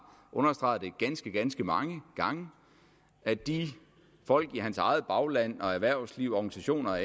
understreget ganske ganske mange gange at de folk i hans eget bagland erhvervsliv og organisationer